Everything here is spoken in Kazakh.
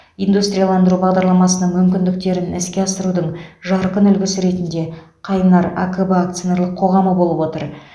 индустрияландыру бағдарламасының мүмкіндіктерін іске асырудың жарқын үлгісі ретінде қайнар акб акционерлік қоғамы болып отыр